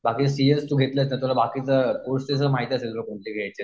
बाकी C S तू घेतलंस तर कोर्स तुला माहिती असतील कोणते घ्यायचे.